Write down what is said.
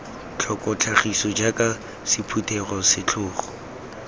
tlhoko tlhagiso jaaka sephuthelo setlhogo